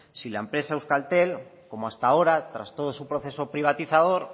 si la empresa euskaltel como hasta ahora tras todo su proceso privatizador